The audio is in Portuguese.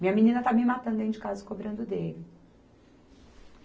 Minha menina está me matando dentro de casa cobrando dele.